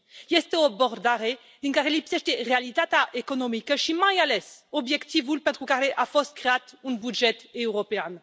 Este o abordare din care lipsește realitatea economică și, mai ales, obiectivul pentru care a fost creat un buget european.